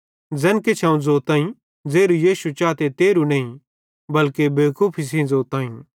ज़ैन किछ अवं ज़ोताईं ज़ेरू यीशु चाते तेरहु नईं बल्के बेवकूफी सेइं ज़ोताईं